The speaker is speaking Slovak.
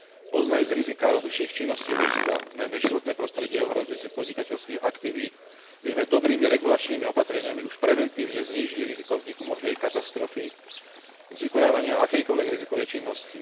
Poznajúc riziká rozličných činností ľudstva, najmä životné prostredie ohrozujúcich podnikateľských aktivít, vieme dobrými regulačnými opatreniami už preventívne znížiť riziko vzniku možnej katastrofy z vykonávania akejkoľvek rizikovej činnosti.